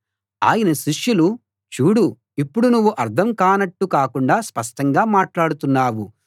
ఆయన శిష్యులు చూడు ఇప్పుడు నువ్వు అర్థం కానట్టు కాకుండా స్పష్టంగా మాట్లాడుతున్నావు